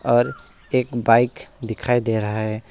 और एक बाइक दिखाई दे रहा है।